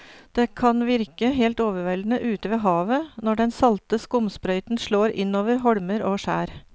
Det kan virke helt overveldende ute ved havet når den salte skumsprøyten slår innover holmer og skjær.